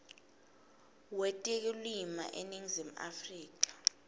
wetekulima eningizimu afrika